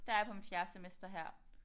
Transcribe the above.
Der er jeg på mit 4 semester her